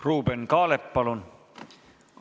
Ruuben Kaalep, palun!